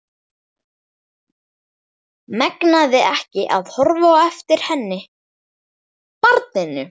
Megnaði ekki að horfa á eftir henni, barninu.